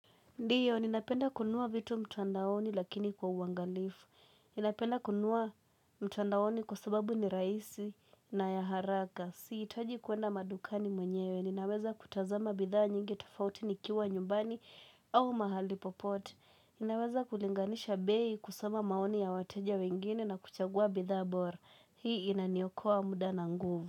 Ndiyo ninapenda kununua vitu mtandaoni lakini kwa uangalifu. Ninapenda kununua mtandaoni kwa sababu ni rahisi na ya haraka. Sihitaji kwenda madukani mwenyewe, ninaweza kutazama bidhaa nyingi tofauti nikiwa nyumbani au mahali popote. Ninaweza kulinganisha bei, kusoma maoni ya wateja wengine na kuchagua bidhaa bora. Hii inaniokoa muda na nguvu.